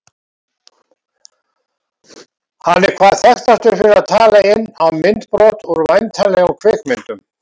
Hann er hvað þekktastur fyrir að tala inn á myndbrot úr væntanlegum kvikmyndum.